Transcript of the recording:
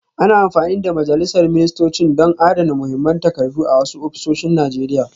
Ana amfani da majalisar ministocin don adana muhimman takardu a wasu ofisoshin Najeriya